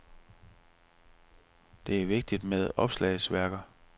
Det er vigtigt med opslagsværker.